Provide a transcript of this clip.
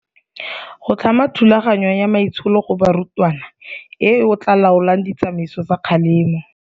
Go tlhama thulaganyo ya maitsholo go barutwana eo e tla laolang ditsamaiso tsa kgalemo.